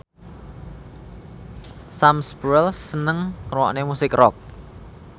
Sam Spruell seneng ngrungokne musik rock